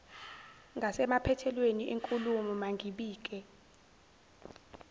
ngasemaphethelweni enkulumo mangibike